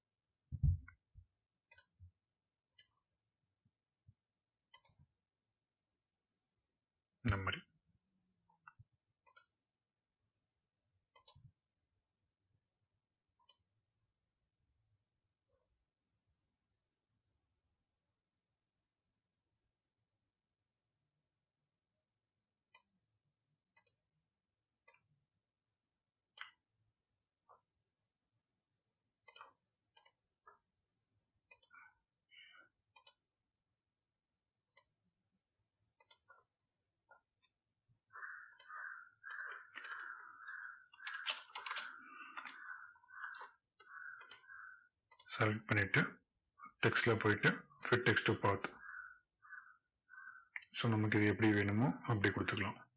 select பண்ணிட்டு text ல போயிட்டு fit text to path so நமக்கு எப்படி வேணுமோ அப்படி கொடுத்துக்கலாம்